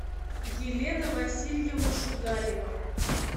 елена васильевна шугаева